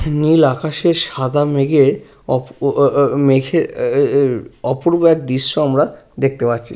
নীল আকাশে সাদা মেঘে অপ ও ও ও উম মেঘের-এ এ-এ এ অপূর্ব এক দৃশ্য আমরা দেখতে পাচ্ছি ।